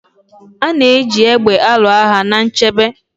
A na-eji égbè alụ agha na nchebe.